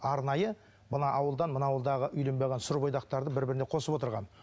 арнайы мына ауылдан мына ауылдағы үйленбей қалған сүрбойдақтарды бір біріне қосып отырған